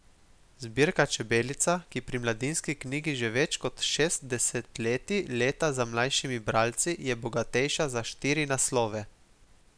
Zbirka Čebelica, ki pri Mladinski knjigi že več kot šest desetletij leta za najmlajšimi bralci, je bogatejša za štiri naslove.